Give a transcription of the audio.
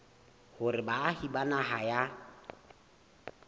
hore baahi ba naha ya